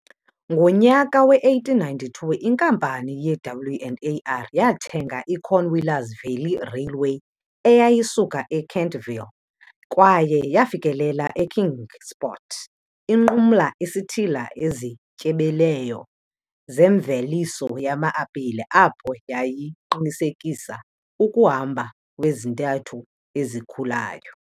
Ngonyaka we-1892 inkampani ye-W and AR yathenga i-Cornwallis Valley Railway eyayisuka e-Kentville kwaye yafikelela e-Kingsport inqumla isithili ezityebileyo zemveliso yama-apile apho yayiqinisekisa ukuhamba kwezintathu ezikhulayo.